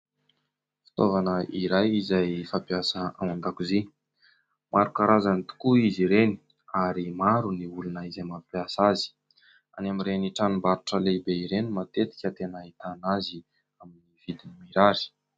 Fitaovana iray izay fampiasa ao an-dakozia, maro karazany tokoa izy ireny ary maro ny olona izay mampiasa azy, any amin'ireny tranom-barotra lehibe ireny matetika no tena ahitana azy amin'ny vidiny mirary.